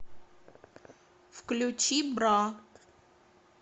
включи бра